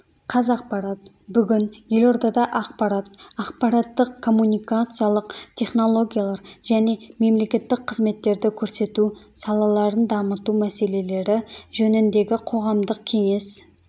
қазақпарат бүгін елордада ақпарат ақпараттық-коммуникациялық технологиялар және мемлекеттік қызметтерді көрсету салаларын дамыту мәселелері жөніндегі қоғамдық кеңес